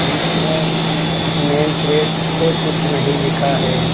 बीच में name plate पे कुछ नहीं लिखा है।